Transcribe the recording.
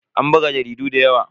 An buga jaridun da yawa.